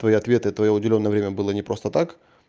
твои ответы это уделённое время было не просто так